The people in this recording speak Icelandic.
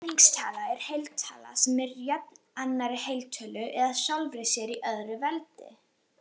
Ferningstala er heiltala sem er jöfn annarri heiltölu eða sjálfri sér í öðru veldi.